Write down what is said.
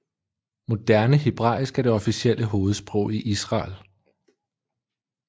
Moderne hebraisk er det officielle hovedsprog i Israel